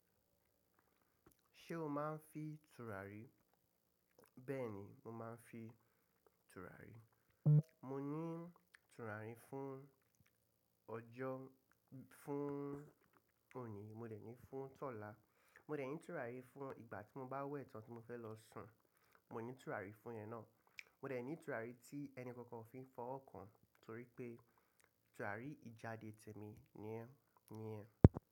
Ṣé o máa ń fi tùràrí? Bẹ́ẹ̀ ni, mo máa ń fi tùràrí. Mo ní tùràrí fún ọjọ́, fún òní, mo dẹ̀ ní fún ọ̀la. Mo dẹ̀ ní tùràrí fún ìgbà tí mo bá wẹ̀ tán tí mo fẹ́ lọ sùn, mo ní tùràrí fún'yen náà. Mo dẹ̀ ní tùràrí tí ẹnì kankan ò fi fọwọ́ kan torí pé tùràrí ìjáde tèmi nìyen, nìyen.